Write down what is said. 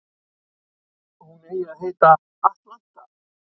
Hún eigi að heita Atlanta